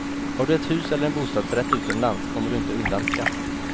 Har du ett hus eller en bostadsrätt utomlands kommer du inte undan skatt.